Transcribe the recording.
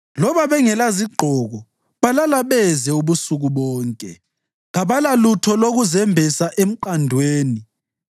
Ngoba bengelazigqoko balala beze ubusuku bonke; kabalalutho lokuzembesa emqandweni.